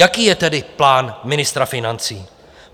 Jaký je tedy plán ministra financí?